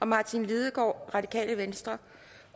martin lidegaard